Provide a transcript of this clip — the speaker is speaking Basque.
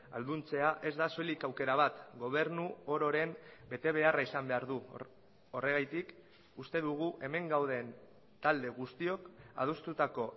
ahalduntzea ez da soilik aukera bat gobernu ororen betebeharra izan behar du horregatik uste dugu hemen gauden talde guztiok adostutako